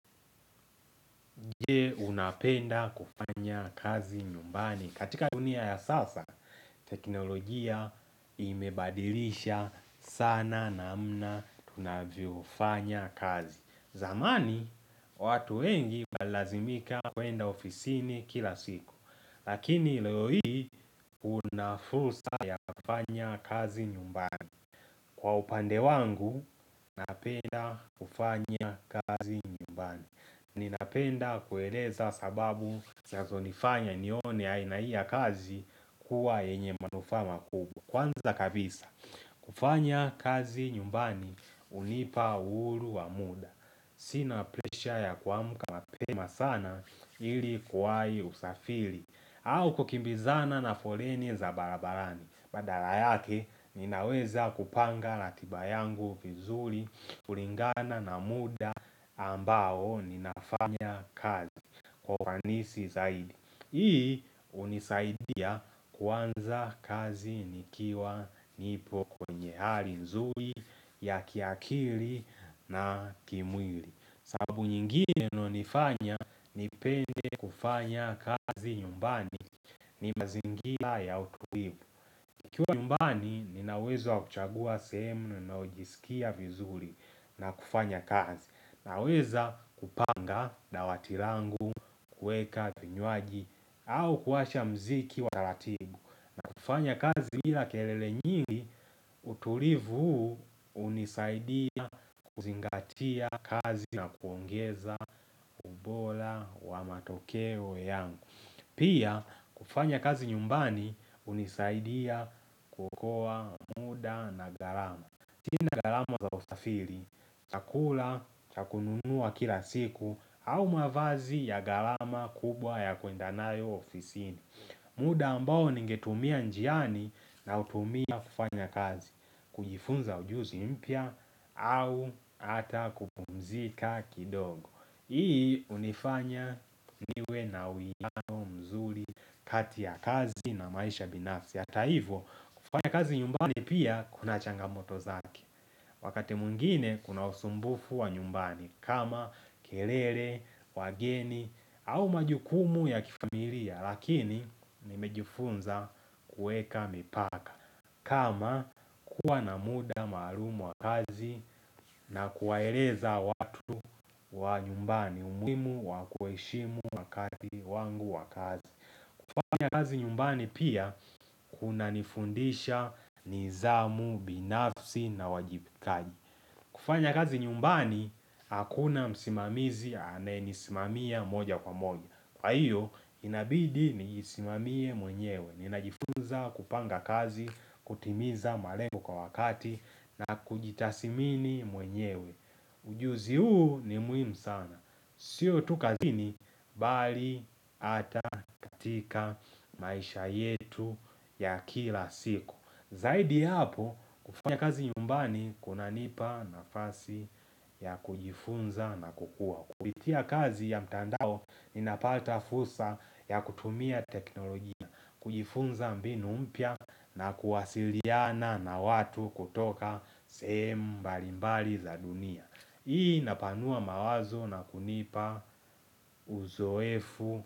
Je, unapenda kufanya kazi nyumbani? Katika dunia ya sasa, teknolojia imebadilisha sana namna tunavyofanya kazi. Zamani, watu wengi walazimika kuenda ofisini kila siku. Lakini leo hii, una fursa ya kufanya kazi nyumbani. Kwa upande wangu, napenda kufanya kazi nyumbani. Ninapenda kueleza sababu sazonifanya nione aina hii ya kazi, kuwa yenye manufaa makubwa. Kwanza kabisa, kufanya kazi nyumbani, unipa uuru wa muda. Sina presha ya kuamka mapema sana, ili kuwai usafiri. Au kukimbizana na foleni za barabarani. Badala yake ninaweza kupanga latiba yangu vizuri, kulingana na muda ambao ninafanya kazi kwa uanisi zaidi. Hii unisaidia kuanza kazi nikiwa nipo kwenye hali nzuri ya kiakiri na kimwili. Sababu nyingine inonifanya nipende kufanya kazi nyumbani ni mazingila ya utuibu. Kiwa nyumbani nina uwezo wa kuchagua sehemu ninaojisikia vizuri. Na kufanya kazi. Naweza kupanga dawati langu, kuweka vinyuaji au kuwasha mziki wa taratibu. Fanya kazi hila kelele nyingi tulivu huu, unisaidia kuzingatia kazi na kuongeza pola wa matokeo yangu. Pia, kufanya kazi nyumbani unisaidia kuokoa muda na gharama. Kina gharama za usafiri, chakula, cha kununua kila siku au mavazi ya gharama kubwa ya kuendanayo ofisini. Muda ambao ningetumia njiani, nautumia kufanya kazi. Kujifunza ujuzi mpya, au ata kupumzika kidogo. Hii unifanya niwe na uiano mzuri kati ya kazi na maisha binafsi. Hata hivo, kufanya kazi nyumbani pia kuna changamoto zake. Wakati mwingine kuna usumbufu wa nyumbani. Kama kelele, wageni au majukumu ya kifamilia. Lakini nimejifunza kuweka mipaka. Kama kuwa na muda maalum wa kazi na kuwaereza watu wa nyumbani umuimu wa kueshimu wakati wangu wa kazi. Kufanya kazi nyumbani pia kunanifundisha nizamu, binafsi na wajibikaji. Kufanya kazi nyumbani, hakuna msimamizi amenisimamia moja kwa moja. Kwa hiyo, inabidi niisimamie mwenyewe. Ninajifunza kupanga kazi, kutimiza malengo kwa wakati, na kujitasimini mwenyewe. Ujuzi huu ni muhimu sana. Sio tu kazini, bali ata katika maisha yetu ya kila siku. Zaidi yapo, kufanya kazi nyumbani kunanipa nafasi ya kujifunza na kukua. Kubitia kazi ya mtandao, ninapata fusa ya kutumia teknolojia, kujifunza mbinu mpya na kuwasiliana na watu kutoka sehem mbalimbali za dunia. Hii napanua mawazo na kunipa uzoefu.